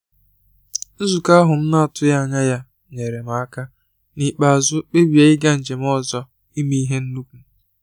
Nzukọ ahụ m na-atụghị anya ya nyeere m aka n’ikpeazụ kpebie ịga njem ọzọ ime ihe nnukwu